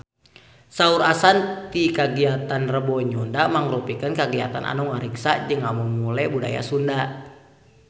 Saur Ashanti kagiatan Rebo Nyunda mangrupikeun kagiatan anu ngariksa jeung ngamumule budaya Sunda